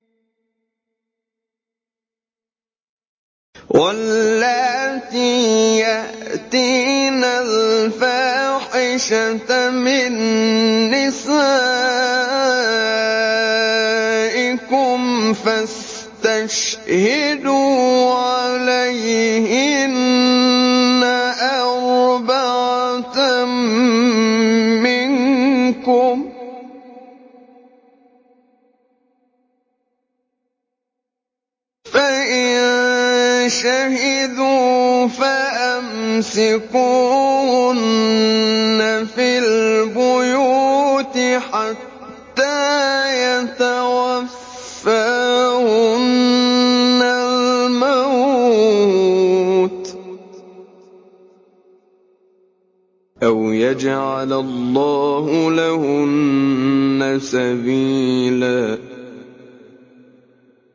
وَاللَّاتِي يَأْتِينَ الْفَاحِشَةَ مِن نِّسَائِكُمْ فَاسْتَشْهِدُوا عَلَيْهِنَّ أَرْبَعَةً مِّنكُمْ ۖ فَإِن شَهِدُوا فَأَمْسِكُوهُنَّ فِي الْبُيُوتِ حَتَّىٰ يَتَوَفَّاهُنَّ الْمَوْتُ أَوْ يَجْعَلَ اللَّهُ لَهُنَّ سَبِيلًا